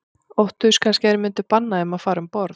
Óttuðust kannski að þeir myndu banna þeim að fara um borð.